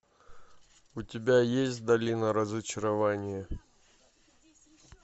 у тебя есть долина разочарования